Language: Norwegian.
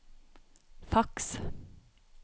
faks